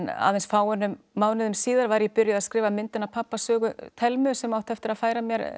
aðeins fáeinum mánuðum síðar var ég byrjuð að skrifa myndin af pabba sögu Thelmu sem átti eftir að færa mér